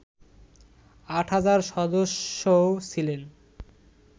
৮ হাজার সদস্যও ছিলেন